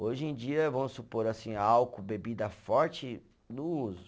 Hoje em dia, vamos supor assim, álcool, bebida forte, não uso.